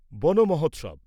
বনমহোৎসব